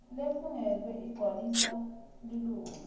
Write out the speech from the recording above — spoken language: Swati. lefungelwe igcwaliswa lilunga